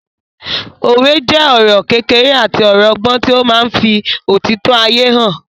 Òwe jẹ́ ọ̀rọ̀ kékeré àti ọ̀rọ̀ ọgbọ́n tí ó máa ń fí òtítọ́ ayé hàn